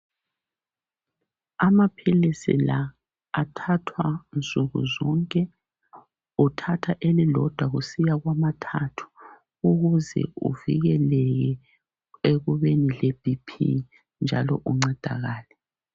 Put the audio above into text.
Amaphilisi la athathwa nsukuzonke. Kuthathwa elilodwa kusiya kwamathathu, ukuze kuvikeleke ekubeni le BP njalo uncedakale.